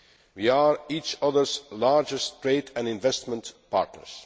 We are each other's largest trade and investment partners.